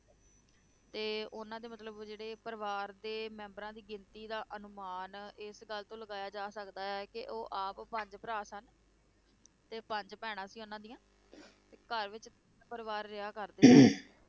ਤੇ ਉਹਨਾਂ ਦੇ ਮਤਲਬ ਜਿਹੜੇ ਪਰਿਵਾਰ ਦੇ ਮੈਂਬਰਾਂ ਦੀ ਗਿਣਤੀ ਦਾ ਅਨੁਮਾਨ ਇਸ ਗੱਲ ਤੋਂ ਲਗਾਇਆ ਜਾ ਸਕਦਾ ਹੈ ਕਿ ਉਹ ਆਪ ਪੰਜ ਭਰਾ ਸਨ ਤੇ ਪੰਜ ਭੈਣਾਂ ਸੀ ਉਹਨਾਂ ਦੀਆਂ ਤੇ ਘਰ ਵਿੱਚ ਤਿੰਨ ਪਰਿਵਾਰ ਰਿਹਾ ਕਰਦੇ